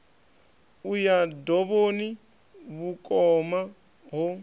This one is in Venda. u ya dovhoni vhukoma ho